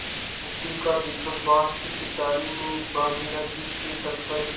मिट्टी का दीपक बाँस की पिटारी में भागीरथी के तट पर